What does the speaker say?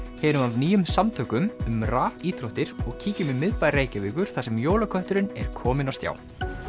heyrum af nýjum samtökum um rafíþróttir og kíkjum í miðbæ Reykjavíkur þar sem jólakötturinn er kominn á stjá